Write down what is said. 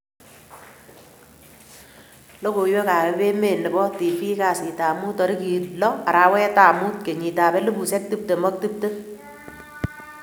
logoiwek ap Emeet nepo TV kasiit ap muut tarigit low, arawet ap muut kenyit ap elipusiek tiptem ak tiptem